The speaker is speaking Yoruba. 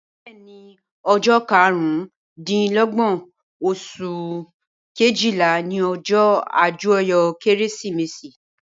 Bẹẹni ọjọ karun dín lógbón osun Kejìlá ni ọjọ ajoyọ kérésìmesì